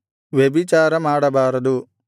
ವ್ಯಭಿಚಾರಮಾಡಬಾರದು